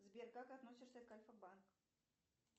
сбер как относишься к альфа банк